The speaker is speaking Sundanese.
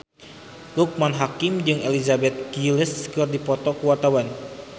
Loekman Hakim jeung Elizabeth Gillies keur dipoto ku wartawan